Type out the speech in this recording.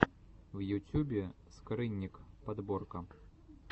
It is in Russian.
в ютюбе скрынник подборка